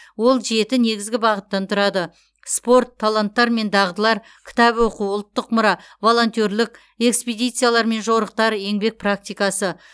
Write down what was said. ол жеті негізгі бағыттан тұрады спорт таланттар мен дағдылар кітап оқу ұлттық мұра волонтерлік экспедициялар мен жорықтар еңбек практикасы